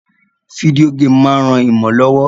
Video game ma n ran imo lówó